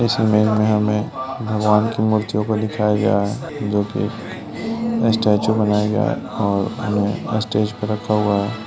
इस इमेज में हमे भगवान की मूर्तियों को दिखाया या है जोकी स्टैचु बनाया गया है और उन्हे स्टेज पर रखा गया है।